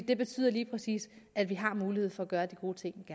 det betyder lige præcis at vi har mulighed for at gøre de gode ting